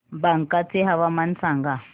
बांका चे हवामान सांगा